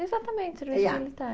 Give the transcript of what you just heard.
Exatamente, serviço militar.